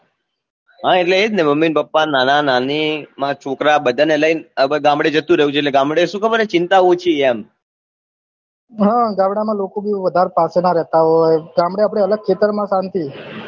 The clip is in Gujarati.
હા એટલે એજ ને mummy papa nana nani મારા છોકરા બધા ને લઇ ને ગામડે જતું રેવું છે એટલે ગામડે શું ખબર હૈ ચિંતા ઓછી એમ હે ગામડે માં લોકો ભી વધારે સાથે ના રેહતા હોય ગામડે આપડે અલગ ખેતર માં શાંતિ